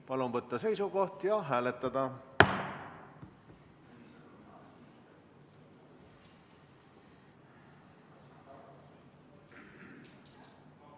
Palun võtta seisukoht ja hääletada!